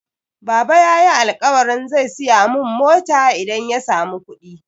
Baba yayi alƙawarin zai siya mun mota idan ya samu kuɗi.